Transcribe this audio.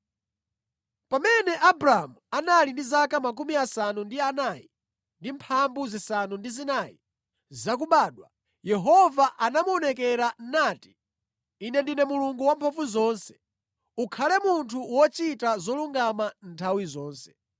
Pamene Abramu anali ndi zaka 99, Yehova anamuonekera nati, “Ine ndine Mulungu Wamphamvuzonse. Ukhale munthu wochita zolungama nthawi zonse.